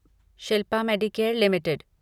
Shilpa medicare limited